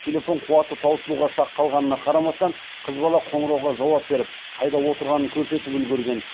телефон қуаты таусылуға шақ қалғанына қарамастан қыз бала қоңырауға жауап беріп қайда отырғанын көрсетіп үлгерген